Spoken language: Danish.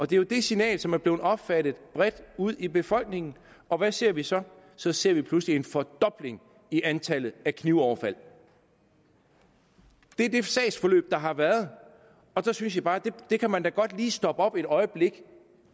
det er jo det signal som er blevet opfattet bredt ud i befolkningen og hvad ser vi så så ser vi pludselig en fordobling i antallet af knivoverfald det er det sagsforløb der har været og der synes jeg bare at man da godt lige kunne stoppe op et øjeblik